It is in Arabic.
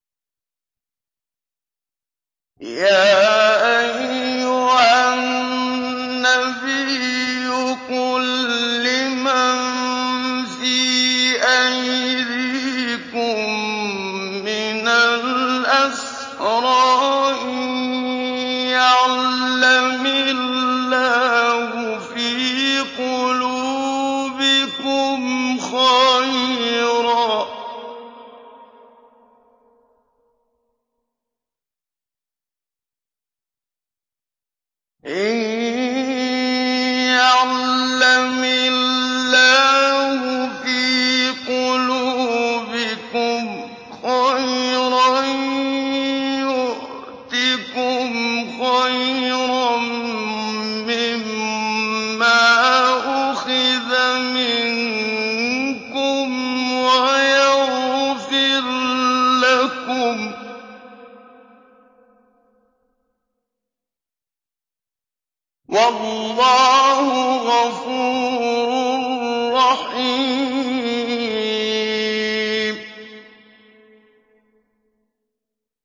يَا أَيُّهَا النَّبِيُّ قُل لِّمَن فِي أَيْدِيكُم مِّنَ الْأَسْرَىٰ إِن يَعْلَمِ اللَّهُ فِي قُلُوبِكُمْ خَيْرًا يُؤْتِكُمْ خَيْرًا مِّمَّا أُخِذَ مِنكُمْ وَيَغْفِرْ لَكُمْ ۗ وَاللَّهُ غَفُورٌ رَّحِيمٌ